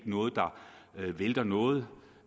noget der vælter noget